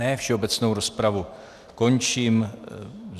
Ne, všeobecnou rozpravu končím.